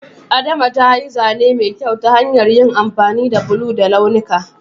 Adama ta yi zane mai kyau ta hanyar amfani da bulo da launuka.